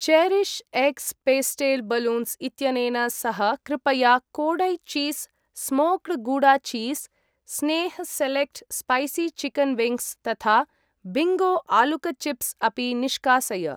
Cherish X pastel balloons इत्यनेन सह कृपया Kodai cheese smoked gouda cheese , Sneh select spicy chicken wings तथा बिङ्गो आलुक चिप्स् अपि निष्कासय।